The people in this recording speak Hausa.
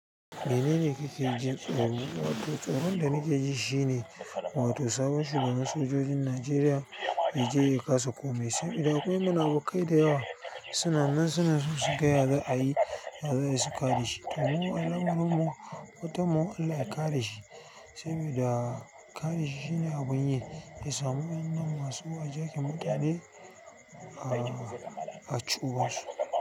Mene ne kuke jin tsoro. Wato tsoron da nake ji shine wato sabon shugaban sojojin Najeriya ya je ya kasa komai sai idan akwai munafukai da yawa suna nan suna so su gaya za a yi, za a yi su ƙada shi. To mu alamarin mu fatan mu Allah ya kare sabida kare shi shine abun ya samu masu hijakin mutane a ci uban shi.